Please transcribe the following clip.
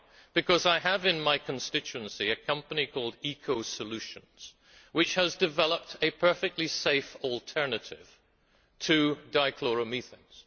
Why? Because I have in my constituency a company called Eco Solutions, which has developed a perfectly safe alternative to dichloromethanes.